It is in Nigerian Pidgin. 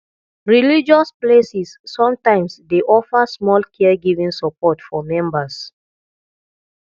religious places sometimes dey offer small caregiving support for members